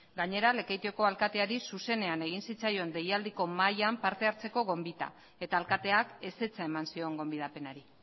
gainera lekeitioko alkateari zuzenean egin zitzaion deialdiko mahaian parte hartzeko gonbitea eta alkateak ezetza eman zion gonbidapenari